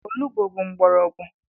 Olugbo bụ mgbọrọgwụ.